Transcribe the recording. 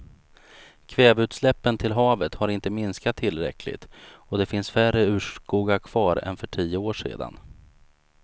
Kväveutsläppen till havet har inte minskat tillräckligt och det finns färre urskogar kvar än för tio år sedan.